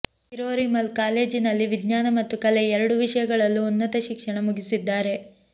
ಕಿರೋರಿ ಮಲ್ ಕಾಲೇಜಿನಲ್ಲಿ ವಿಜ್ಞಾನ ಮತ್ತು ಕಲೆ ಎರಡೂ ವಿಷಯಗಳಲ್ಲೂ ಉನ್ನತ ಶಿಕ್ಷಣ ಮುಗಿಸಿದ್ದಾರೆ